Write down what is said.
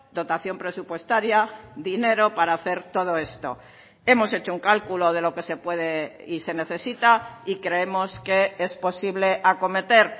dotación presupuestaria dinero para hacer todo esto hemos hecho un cálculo de lo que se puede y se necesita y creemos que es posible acometer